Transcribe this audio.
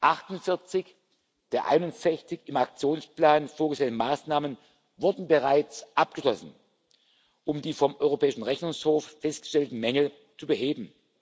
48 der 61 im Aktionsplan vorgesehenen Maßnahmen wurden bereits abgeschlossen, um die vom Europäischen Rechnungshof festgestellten Mängel zu beheben.